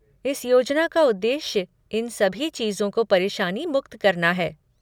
इस योजना का उद्देश्य इन सभी चीज़ों को परेशानी मुक्त करना है।